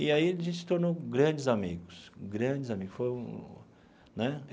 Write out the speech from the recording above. E aí a gente se tornou grandes amigos grandes amigos foi um né.